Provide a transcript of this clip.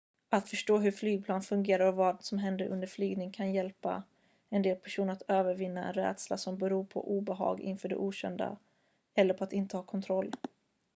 att förstå hur flygplan fungerar och vad som händer under en flygning kan hjälpa en del personer att övervinna en rädsla som beror på obehag inför det okända eller på att inte ha kontroll